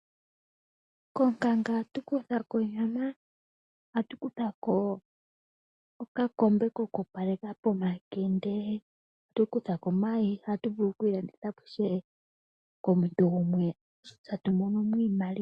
Konkanga ohatu kutha ko onyama, ohatu kutha ko okakombe koku opaleka pomakende. Ohatu kutha ko omayi dho ohadhi vulu woo okulandithwa po komuntu gumwe e tatu mono mo iimaliwa.